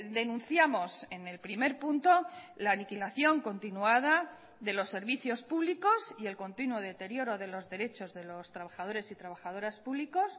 denunciamos en el primer punto la aniquilación continuada de los servicios públicos y el continuo deterioro de los derechos de los trabajadores y trabajadoras públicos